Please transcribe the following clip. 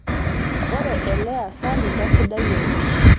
ore ele asani kasidai oleng